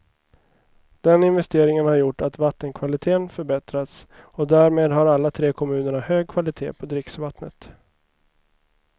Den investeringen har gjort att vattenkvaliteten förbättrats och därmed har alla tre kommunerna hög kvalitet på dricksvattenet.